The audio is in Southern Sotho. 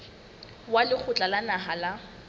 wa lekgotla la naha la